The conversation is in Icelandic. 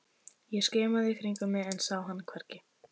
Ég skimaði í kringum mig en sá hann hvergi.